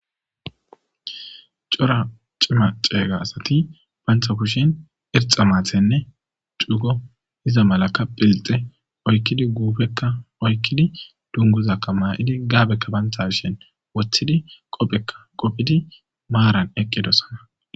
cora cima ceeyga asati bantha kushin irxa maathenne dugo iza malaka philxe oykkidi guufekka oykkidi dunguzakka maa7idi gaabekka banthashin wothidi qophekka qofidi maaran eqqidosana